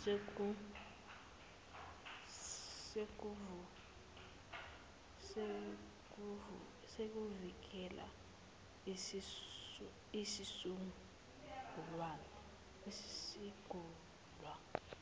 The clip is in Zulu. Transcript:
sezokuvikela esisungulwe